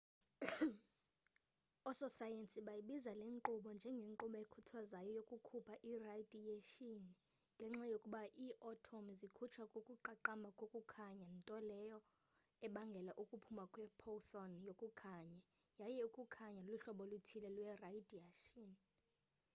oososayensi bayibiza le nkqubo njengenkqubo ekhuthazwayo yokukhupha iradiyeyshini ngenxa yokuba ii-atomu zikhutshwa kukuqaqamba kokukhanya nto leyo ebangela ukuphuma kwe-photon yokukhanye yaye ukukhanya luhlobo oluthile lweradiyeyshini